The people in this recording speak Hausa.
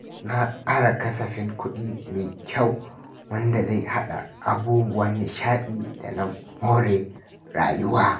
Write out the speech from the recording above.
Ka tsara kasafin kuɗi mai kyau wanda zai haɗa da abubuwan nishaɗi da na more rayuwa.